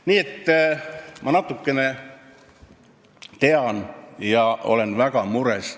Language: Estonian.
Nii et ma natukene tean asju ja olen väga mures.